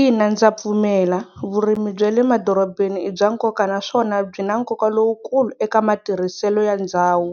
Ina ndza pfumela vurimi bya le madorobeni i bya nkoka naswona byi na nkoka lowukulu eka matirhiselo ya ndhawu.